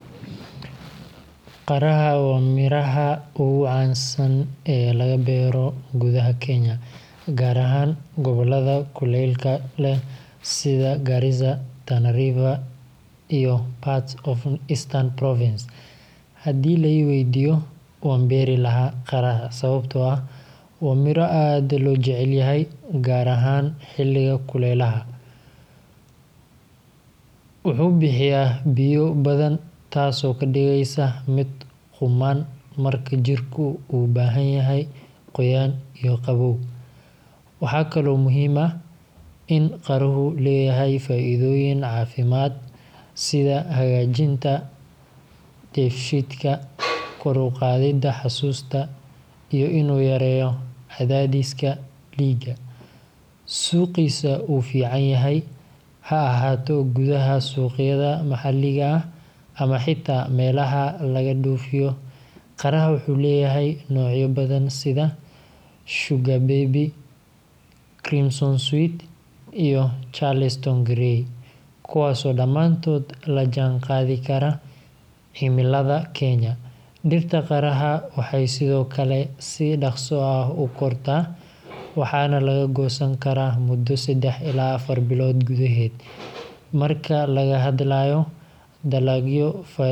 Qaraha waa midhaha ugu caansan ee laga beero gudaha Kenya, gaar ahaan gobollada kuleylka leh sida Garissa, Tana River, iyo parts of Eastern Province. Haddii la i weydiiyo, waan beeri lahaa qaraha sababtoo ah waa miro aad loo jecel yahay, gaar ahaan xilliga kuleylaha. Wuxuu bixiyaa biyo badan, taas oo ka dhigaysa mid qumman marka jirku u baahan yahay qoyaan iyo qabow. Waxaa kaloo muhiim ah in qaruhu leeyahay faa’iidooyin caafimaad sida hagaajinta dheefshiidka, kor u qaadidda xasuusta, iyo inuu yareeyo cadaadiska dhiigga. Suuqiisa wuu fiican yahay – ha ahaato gudaha suuqyada maxalliga ah ama xitaa meelaha laga dhoofiyo. Qaraha wuxuu leeyahay noocyo badan sida Sugar Baby, Crimson Sweet, iyo Charleston Gray, kuwaas oo dhammaantood la jaanqaadi kara cimilada Kenya. Dhirta qaraha waxay sidoo kale si dhakhso ah u kortaa, waxaana laga goosan karaa muddo seddax ilaa afar bilood gudaheed. Marka laga hadlayo dalagyo faa’iido leh.